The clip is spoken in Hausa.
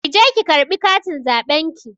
Ki je ki ƙarɓi katin zaɓen ki.